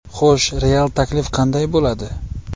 Xo‘sh, real taklif qanday bo‘ladi?